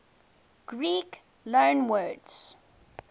greek loanwords